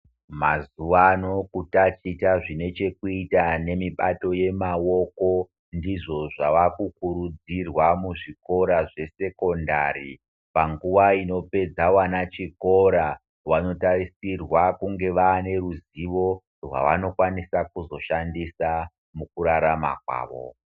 Mazuva ano kutaticha zvinechekuita nemibato yemaoko ndizvo zvavakukurudzirwa muzvikora zvesekondari. Panguva inopedza wana chikora wanotarisirwa kunge waaneruzivo rwawanokwanisa kuzoshandisa mukurarama kwavo.